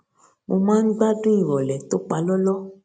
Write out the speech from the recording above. mo máa ń gbádùn ìròlé tó palóló